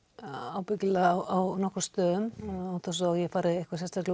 ábyggilega á nokkrum stöðum án þess að ég fari